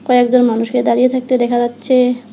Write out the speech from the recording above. কয়েকজন মানুষকে দাঁড়িয়ে থাকতে দেখা যাচ্ছে।